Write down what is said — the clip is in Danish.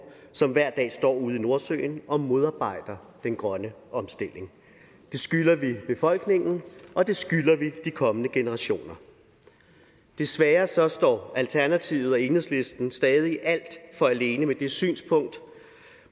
som hver dag står ude i nordsøen og modarbejder den grønne omstilling det skylder vi befolkningen og det skylder vi de kommende generationer desværre står står alternativet og enhedslisten stadig alt for alene med det synspunkt